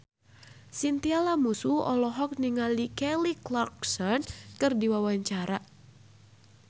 Chintya Lamusu olohok ningali Kelly Clarkson keur diwawancara